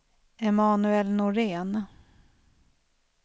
Emanuel Norén